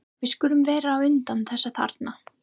Við skulum vera á undan þessum þarna.